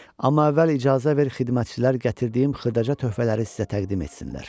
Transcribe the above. Amma əvvəl icazə ver xidmətçilər gətirdiyim xırdaca töhfələri sizə təqdim etsinlər.